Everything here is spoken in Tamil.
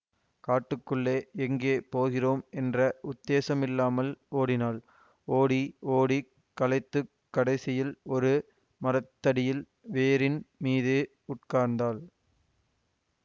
காட்டுக்குள்ளே எங்கே போகிறோம் என்ற உத்தேசமில்லாமல் ஓடினாள் ஓடி ஓடிக் களைத்துக் கடைசியில் ஒரு மரத்தடியில் வேரின் மீது உட்கார்ந்தாள்